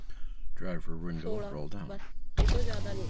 ਸੋਲਾਂ ਬੱਸ ਇਹ ਤੋਂ ਜਿਆਦਾ ਨਹੀਂ